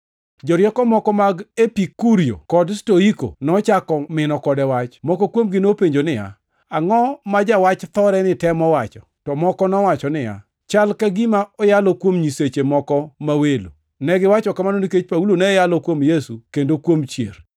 Jorieko moko mag Epikurio kod Stoiko nochako mino kode wach. Moko kuomgi nopenjo niya, “Angʼo ma jawach thoreni temo wacho?” To moko nowacho niya, “Chal ka gima oyalo kuom nyiseche moko ma welo.” Negiwacho kamano nikech Paulo ne yalo kuom Yesu kendo kuom chier.